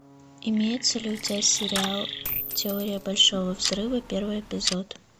имеется ли у тебя сериал теория большого взрыва первый эпизод